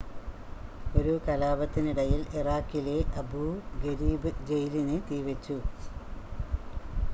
ഒരു കലാപത്തിനിടയിൽ ഇറാഖിലെ അബൂ ഗരീബ് ജയിലിന് തീവെച്ചു